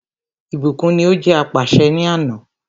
Ìbùkún ní o jẹ́ apàṣẹ ni àná.